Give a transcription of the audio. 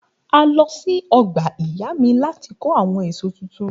A lọ sí ọgbà ìyá mi láti kó àwọn èso tuntun.